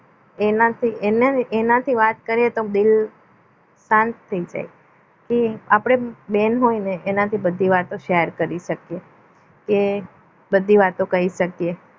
એનાથી એનાથી વાત કરીએ તો દિલ શાંત થઈ જાય કે આપણે બેન હોય ને એનાથી આપણે બધી વાતો share કરી શકીએ કે બધી વાતો કહી શકીએ